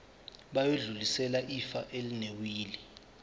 bayodlulisela ifa elinewili